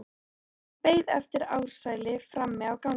Hann beið eftir Ársæli frammi á gangi.